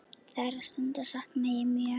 Þeirra stunda sakna ég mjög.